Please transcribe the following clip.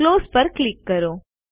close ઉપર click કરો